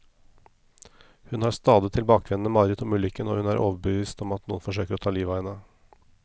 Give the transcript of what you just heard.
Hun har stadig tilbakevendende mareritt om ulykken, og hun er overbevist om at noen forsøker å ta livet av henne.